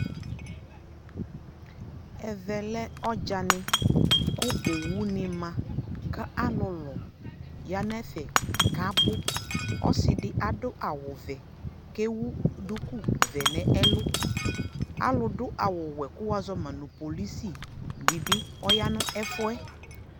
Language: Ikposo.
ɛvɛ lɛ ɔdzanɛ kʋ ɔwʋ ni ma kʋ alʋlʋ yanʋ ɛfɛ kʋ abʋ, ɔsiidi kʋ adʋ awʋ vɛɛ kʋ ɛwʋ dʋkʋ vɛɛ nʋ ɛlʋ alʋ dʋ awʋ wɛɛ kʋ wazɔma polisi dibi ɔyanʋ ɛƒʋɛ